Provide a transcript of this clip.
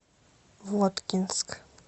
воткинск